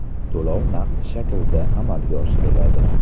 To‘lov naqd shaklda amalga oshiriladi.